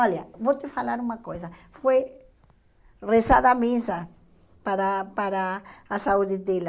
Olha, vou te falar uma coisa, foi rezada a missa para para a saúde dela.